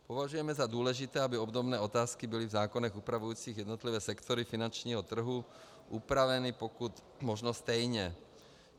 Považujeme za důležité, aby obdobné otázky byly v zákonech upravujících jednotlivé sektory finančního trhu upraveny pokud možno stejně.